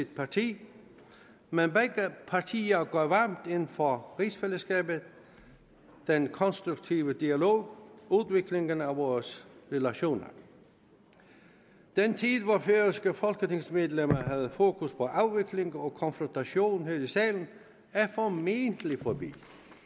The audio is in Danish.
parti men begge partier går varmt ind for rigsfællesskabet den konstruktive dialog udviklingen af vores relation den tid hvor færøske folketingsmedlemmer havde fokus på afvikling og konfrontation her i salen er formentlig forbi